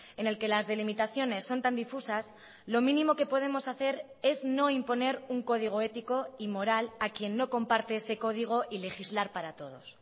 en el que las delimitaciones son tan difusas lo mínimo que podemos hacer es no imponer un código ético y moral a quien no comparte ese código y legislar para todos